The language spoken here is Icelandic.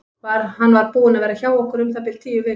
Hann var búinn að vera hjá okkur um það bil tíu vikur.